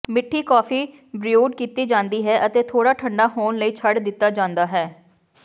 ਮਿੱਠੀ coffee brewed ਕੀਤੀ ਜਾਂਦੀ ਹੈ ਅਤੇ ਥੋੜ੍ਹਾ ਠੰਡਾ ਹੋਣ ਲਈ ਛੱਡ ਦਿੱਤਾ ਜਾਂਦਾ ਹੈ